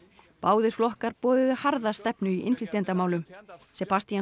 báðir flokkar boðuðu harða stefnu í innflytjendamálum